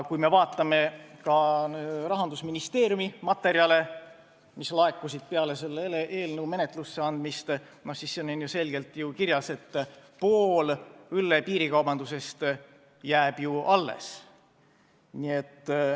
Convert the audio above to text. Kui me vaatame Rahandusministeeriumi materjale, mis laekusid peale selle eelnõu menetlusse andmist, siis näeme, et seal on selgelt kirjas, et pool õlle piirikaubandusest jääb alles.